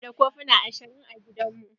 Muna da kofuna ashirin a gidan mu.